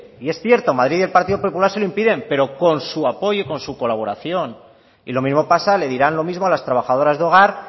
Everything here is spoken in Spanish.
y es cierto madrid y el partido popular se lo impiden pero con su apoyo y con su colaboración y lo mismo pasa les dirán lo mismo a las trabajadoras de hogar